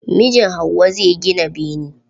mijin hauwa zai gina bene.